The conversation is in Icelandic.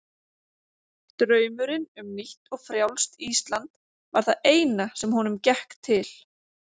Draumurinn um nýtt og frjálst Ísland var það eina sem honum gekk til.